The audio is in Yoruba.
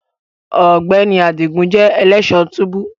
Ọgbẹni Adigun jẹ elẹṣọ tubu